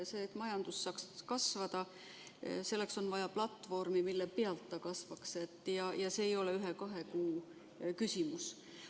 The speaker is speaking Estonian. Selleks, et majandus saaks kasvada, on vaja platvormi, mille pealt ta kasvaks, ja selle ei ole ühe-kahe kuu küsimus.